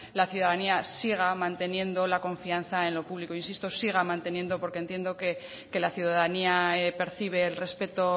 la ciudadanía siga manteniendo la confianza en lo público insisto siga manteniendo porque entiendo que la ciudadanía percibe el respeto